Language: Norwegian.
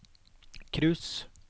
cruise